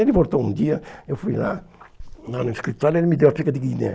Ele voltou um dia, eu fui lá lá no escritório, ele me deu a figa de Guiné.